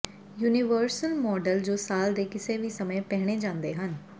universal model ਜੋ ਸਾਲ ਦੇ ਕਿਸੇ ਵੀ ਸਮੇਂ ਪਹਿਨੇ ਜਾਂਦੇ ਹਨ